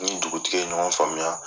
N ni dugutigi ye ɲɔgɔn faamuya.